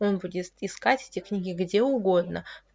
он будет искать эти книги где угодно